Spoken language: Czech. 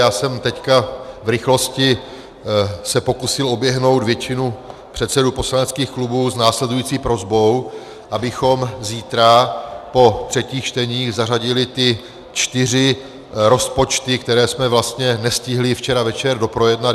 Já jsem teď v rychlosti se pokusil oběhnout většinu předsedů poslaneckých klubů s následující prosbou, abychom zítra po třetích čteních zařadili ty čtyři rozpočty, které jsme vlastně nestihli včera večer doprojednat.